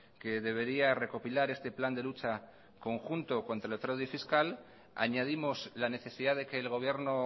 que debería recopilar este plan de lucha conjunto contra el fraude fiscal añadimos la necesidad de que el gobierno